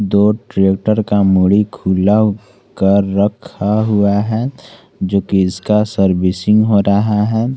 दो ट्रैक्टर का मोड़ी खुला कर रखा हुआ है जो कि इसका सर्विसिंग हो रहा है।